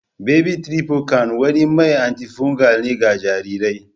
Baby tribotan wani mai anti-fugal ne ga jarirai.